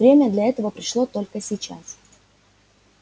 время для этого пришло только сейчас